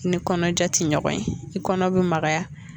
I ni kɔnɔja tɛ ɲɔgɔn ye i kɔnɔ bɛ magaya.